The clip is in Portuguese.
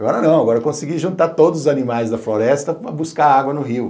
Agora não, agora eu consegui juntar todos os animais da floresta para buscar água no rio.